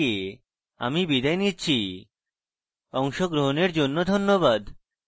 I I T Bombay থেকে আমি বিদায় নিচ্ছি অংশগ্রহণের জন্য ধন্যবাদ